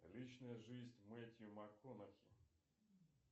личная жизнь мэтью макконахи